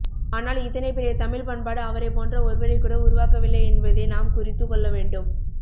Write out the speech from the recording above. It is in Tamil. ஆனால் இத்தனைபெரிய தமிழ்ப்பண்பாடு அவரைப்போன்ற ஒருவரைக்கூட உருவாக்கவில்லை என்பதை நாம் குறித்துக்கொள்ளவேண்டும்